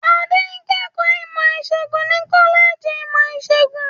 Adé ń kẹ́kọ̀ọ́ ìmọ̀-ìṣègùn ní kọ́lẹ́jì ìmọ̀-ìṣègùn.